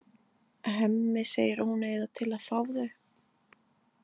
Hemmi segir að hún eigi það til að fá þau.